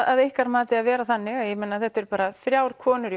að ykkar mati að vera þannig ég meina þetta eru bara þrjár konur í